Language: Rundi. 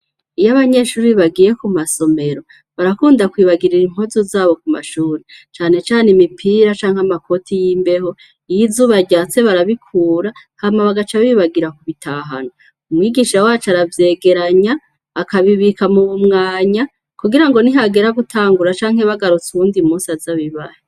Iyo abanyeshure bagiye kumasomero barakunda kwibagira impuzu zabo mumashure cane cane imipira canke amakoti yimbeho iyizuba ryatse barabikura bakaca bibagira kubitahana umwigisha wacu aravyegeranya akabibika mubumwanya kugirango nihagera gutangura canke bagarutse uwundi musi azobibahe